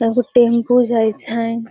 तब उ टेंपू जाय छैन।